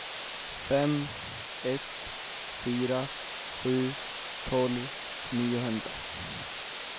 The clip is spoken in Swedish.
fem ett fyra sju tolv niohundra